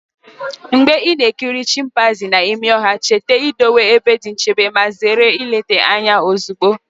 Mgbe ị na-ekiri chimpanzee n'ime ọhịa, cheta idowe ebe dị nchebe ma zere ileta anya ozugbo!